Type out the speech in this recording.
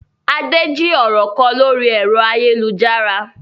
Adé jí ọ̀rọ̀ kọ lórí ẹ̀rọ ayélujára.